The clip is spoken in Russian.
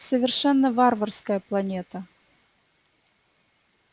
совершенно варварская планета